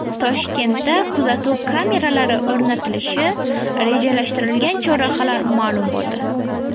Toshkentda kuzatuv kameralari o‘rnatilishi rejalashtirilgan chorrahalar ma’lum bo‘ldi.